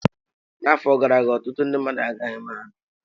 N'afọ gara aga, ọtụtụ ndị mmadụ agaghị mahadum.